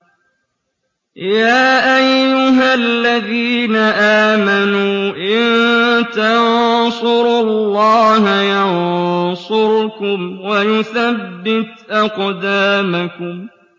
يَا أَيُّهَا الَّذِينَ آمَنُوا إِن تَنصُرُوا اللَّهَ يَنصُرْكُمْ وَيُثَبِّتْ أَقْدَامَكُمْ